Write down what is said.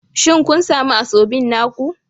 Shin kun sami Asoebi naku?